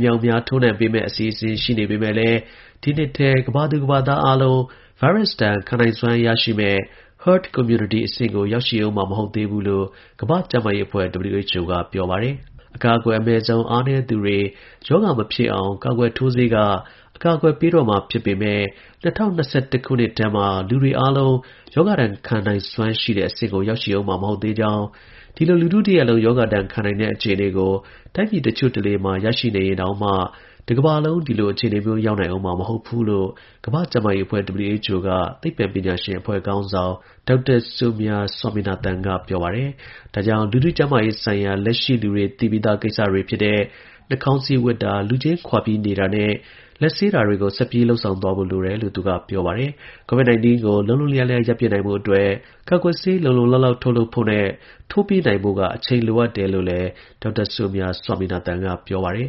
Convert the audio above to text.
မြောက်အမြား ထိုးနှံပေးမယ့် အစီအစဉ် ရှိနေပေမယ့်လည်း ဒီနှစ်ထဲ ကမ္ဘာသူ ကမ္ဘာသား အားလုံး ဗိုင်း ရပ်စ်ဒဏ် ခံနိုင်စွမ်းရရှိမယ့် herd immunity အဆင့်ကို ရောက်ရှိဦးမှာ မဟုတ်သေးဘူးလို့ ကမ္ဘာ့ ကျန်းမာရေးအဖွဲ့ WHO က ပြောပါတယ်။ “အကာအကွယ် အမဲ့ဆုံး အားနည်းသူတွေ ရောဂါ မဖြစ်အောင် ကာကွယ်ထိုးဆေးက အကာအကွယ်ပေးတော့မှာဖြစ်ပေမဲ့၂၀၂၁ခုနှစ် ထဲမှာ လူတွေအားလုံးရောဂါဒဏ် ခံနိုင်စွမ်းရှိတဲ့ အဆင့်ကို ရောက်ရှိဦးမှာ မဟုတ်သေးပါဘူး။ ဒီလို လူထု တစ်ရပ်လုံး ရောဂါ ဒဏ်ခံ နိုင်တဲ့ အခြေအနေကို တိုင်းပြည်တစ်ချို့ တစ်လေမှာ ရရှိနေရင်တောင်မှ တစ်ကမ္ဘာလုံး ဒီလို အခြေအနေမျိုးရောက်နိုင်ဦးမှာမဟုတ်ဘူး” လို့ ကမ္ဘာ့ ကျန်းမာရေးအဖွဲ့ WHO က သိပ္ပံပညာရှင်အဖွဲ့ ခေါင်းဆောင် Dr Soumya Swaminathan က ပြောပါတယ်။ ဒါကြောင့်၊ လူထု ကျန်းမာရေးဆိုင်ရာ လက်ရှိ လူတွေ သိပြီးသား ကိစ္စတွေ ဖြစ်တဲ့ နှာခေါင်းစည်း ဝတ်တာ၊ လူချင်းခွာပြီးနေတာနဲ့ လက်ဆေး တာတွေကို ဆက်ပြီး လုပ်ဆောင်သွားဖို့ လိုတယ်လို့ သူက ပြောပါတယ်။ COVID-19 ကို လုံးလုံးလျားလျား ရပ်ပစ်နိုင် ဖို့အတွက် ကာကွယ်ဆေး လုံလုံလောက်လောက်ထုတ်လုပ်ဖို့နဲ့ ထိုးပေးနိုင်ဖို့က အချိန်လိုအပ်တယ်လို့လည်း Dr Soumya Swaminathan က ပြောပါတယ်